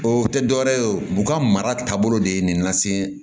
O tɛ dɔwɛrɛ ye o b'u ka mara taabolo de ye nin lase